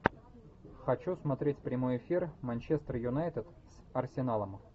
хочу смотреть прямой эфир манчестер юнайтед с арсеналом